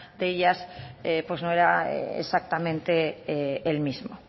de ellas no era exactamente el mismo